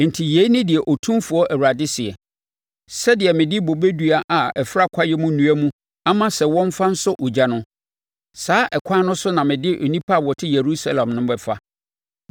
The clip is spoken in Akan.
“Enti yei ne deɛ Otumfoɔ Awurade seɛ: Sɛdeɛ mede bobe dua a ɛfera kwaeɛm nnua mu ama sɛ wɔmfa nsɔ ogya no, saa ɛkwan no so na mede nnipa a wɔte Yerusalem no bɛfa.